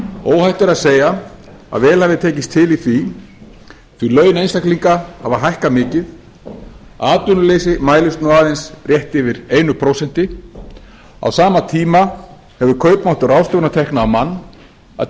óhætt er að segja að vel hafi tekist til í því því að laun einstaklinga hafa hækkað mikið atvinnuleysi mælist nú aðeins rétt yfir einu prósenti á sama tíma hefur kaupmáttur ráðstöfunartekna á mann að